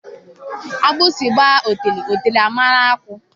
Agbịsị gbaa ọtele ọtele a mụrụ akọ